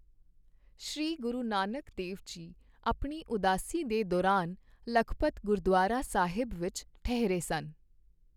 ਸ੍ਰੀ ਗੁਰੂ ਨਾਨਕ ਦੇਵ ਜੀ ਆਪਣੀ ਉਦਾਸੀ ਦੇ ਦੌਰਾਨ ਲਖਪਤ ਗੁਰਦੁਆਰਾ ਸਾਹਿਬ ਵਿੱਚ ਠਹਿਰੇ ਸਨ।